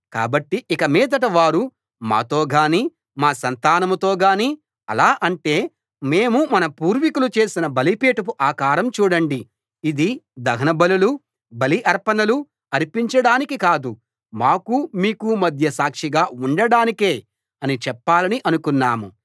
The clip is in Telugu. కాబట్టి ఇక మీదట వారు మాతో గాని మా సంతానంతో గాని అలా అంటే మేము మన పూర్వీకులు చేసిన బలిపీఠపు ఆకారం చూడండి ఇది దహనబలులూ బలి అర్పణలూ అర్పించడానికి కాదు మాకు మీకు మధ్య సాక్షిగా ఉండడానికే అని చెప్పాలని అనుకున్నాం